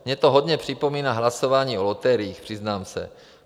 Mně to hodně připomíná hlasování o loteriích, přiznám se.